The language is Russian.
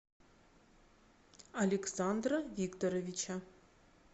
александра викторовича